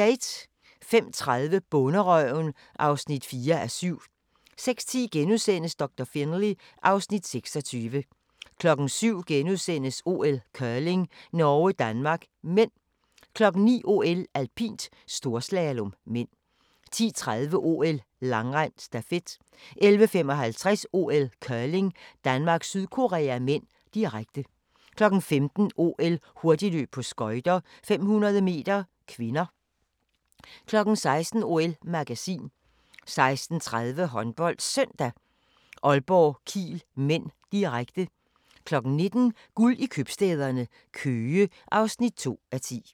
05:30: Bonderøven (4:7) 06:10: Doktor Finlay (Afs. 26)* 07:00: OL: Curling - Norge-Danmark (m) * 09:00: OL: Alpint - storslalom (m) 10:30: OL: Langrend - stafet 11:55: OL: Curling - Danmark-Sydkorea (m), direkte 15:00: OL: Hurtigløb på skøjter - 500 m (k) 16:00: OL-magasin 16:30: HåndboldSøndag: Aalborg-Kiel (m), direkte 19:00: Guld i købstæderne - Køge (2:10)